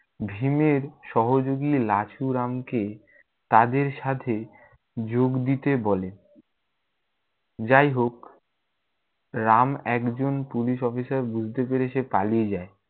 ভীমের সহযোগি লাছুরামকে তাদের সাথে যোগ দিতে বলে। যাইহোক রাম একজন পুলিশ অফিসার বুঝতে পেরে সে পালিয়ে যায়।